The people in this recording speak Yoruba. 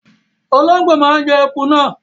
Ológbò máa ń jẹ eku náà.